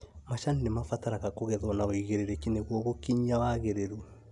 Macani nĩmabataraga kũgethwo na ũigĩrĩrĩki nĩguo gũkinyia wagĩrĩru